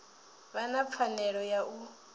vha na pfanelo ya u